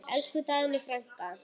Elsku Dagný frænka.